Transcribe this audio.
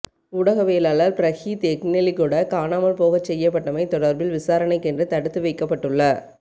ஊடகவியலாளர் பிரகீத் எக்னெலிகொட காணாமல் போகச் செய்யப்பட்டமை தொடர்பில் விசாரணைக்கென்று தடுத்து வைக்கப்பட்டுள்ள